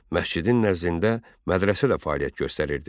Məscidin nəzdində mədrəsə də fəaliyyət göstərirdi.